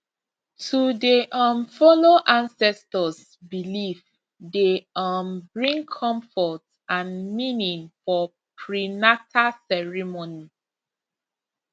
to dey um follow ancestors belief dey um bring comfort and meaning for prenata ceremony